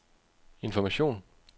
information